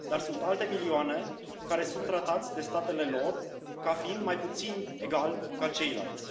Dar sunt alte milioane care sunt tratați de statele lor ca fiind mai puțin egali ca ceilalți.